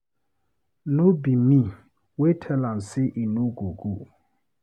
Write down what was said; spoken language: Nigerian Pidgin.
No be me wey tell am say he no go go